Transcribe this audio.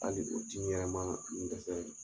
Hali o timi yɛrɛ maa n dɛsɛ .